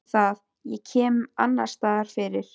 Þá það, ég kem mér annarsstaðar fyrir.